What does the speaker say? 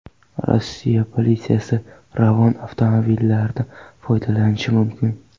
Rossiya politsiyasi Ravon avtomobillaridan foydalanishi mumkin.